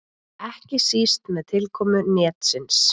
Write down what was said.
Ekki síst með tilkomu netsins.